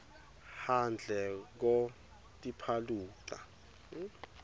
handle ko tipaluxa